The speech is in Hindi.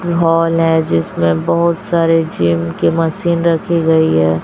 हॉल है जिसमें बहुत सारे जिम की मशीन रखी गई है।